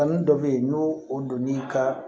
Kanu dɔ bɛ ye n'o o donn'i ka